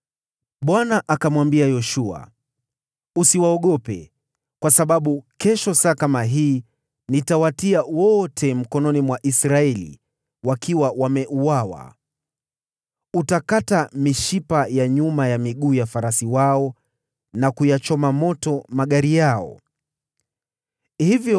Bwana akamwambia Yoshua, “Usiwaogope, kwa sababu kesho saa kama hii nitawatia wote mikononi mwa Israeli, wakiwa wameuawa. Utakata mishipa ya nyuma ya miguu ya farasi wao na kuyachoma moto magari yao ya vita.”